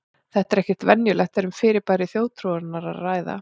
Þetta er ekki venjulegt þegar um fyrirbæri þjóðtrúarinnar er að ræða.